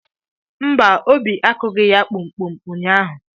Mba! Obi akụghị ya kpum kpum ụnyahụ.